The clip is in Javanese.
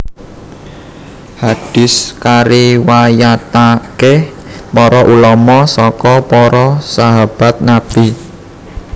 Hadis kariwayatake para ulama saka para sahabat Nabi